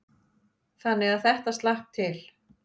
Þannig að þetta slapp til.